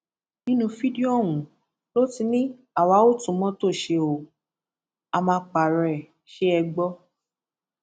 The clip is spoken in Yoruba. nínú fídíò ọhún ló ti ní àwa ó tún mọtò ṣe ó a má pààrọ ẹ ṣe é gbọ